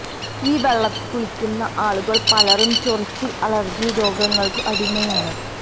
ഈ വെളളത്തില് കുളിക്കുന്ന ആളുകള് പലരും ചൊറിച്ചില് അലര്ജി രോഗങ്ങള്ക്കു അടിമയാണ്